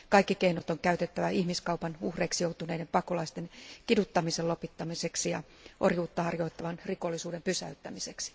Kaikki keinot on käytettävä ihmiskaupan joutuneiden pakolaisten kiduttamisen lopettamiseksi ja orjuutta harjoittavan rikollisuuden pysäyttämiseksi.